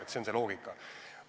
See on see loogika.